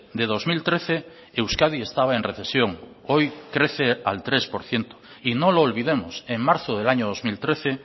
de dos mil trece euskadi estaba en recesión hoy crece al tres por ciento y no lo olvidemos en marzo del año dos mil trece